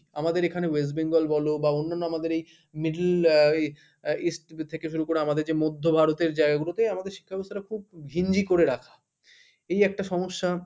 আমাদের এখানে West Bengal বল বা অন্যান্য আমাদের এই middle আহ east শুরু করে আমাদের যে মধ্য ভারতের জায়গা গুলোতে আমাদের শিক্ষাব্যবস্থাটা খুব ঘিঞ্জি করে রাখা এই একটা সমস্যা.